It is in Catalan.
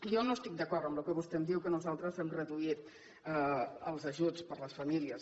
jo no estic d’acord amb el que vostè em diu que nosaltres hem reduït els ajuts per a les famílies